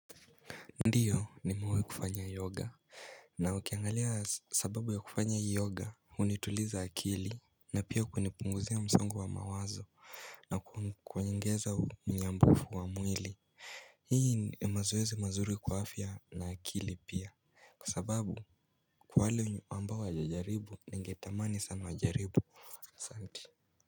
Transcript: Ndiyo nimewai kufanya yoga. Na ukiangalia sababu ya kufanya yoga hunituliza akili. Na pia kunipunguzia msongo wa mawazo na kuniongeza mnyambufu wa mwili. Hii ni mazoezi mazuri kwa afya na akili pia. Kwa sababu kwa wale ambao hawajajaribu ningetamani sana wajaribu. Santi.